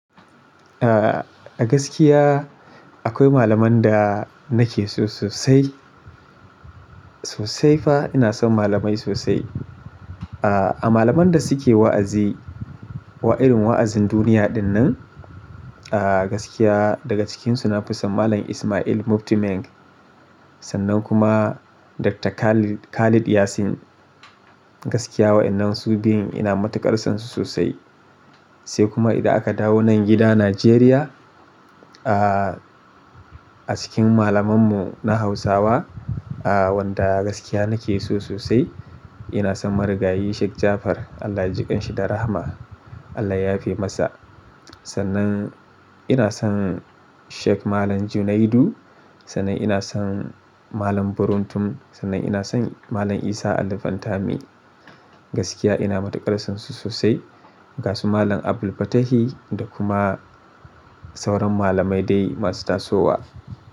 Ah, a gaskiya akwai malaman da nake so sosai. Sosai fa ina son malamai sosai. Ah, a malaman da suke wa'azi wa irin wa'azin duniya dinnan, ah gaskiya daga cikinsu na fi son Malam Ismail Mufti Menk. Sannan kuma Dr. Khalid Khalid Yasin. Gaskiya waƴannan su biyun ina matuƙar son su sosai. Sai kuma idan aka dawo nan gida Najeriya, ah a cikin malamanmu na Hausawa, ah wanda gaskiya nake so sosai ina son Marigayi Sheik Jafar. Allah ya jiƙan shi da rahma. Allah ya yafe masa. Sannan ina son Sheik Malam Junaidu, sannan ina son Malam Buruntun, sannan ina son Malam Isah Ali fantami. Gaskiya ina matuƙar son su sosai. Ga su Malam AbdulFatahi da kuma sauran malamai dai masu tasowa.